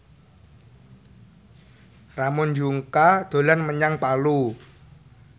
Ramon Yungka dolan menyang Palu